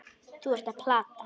Þú ert að plata.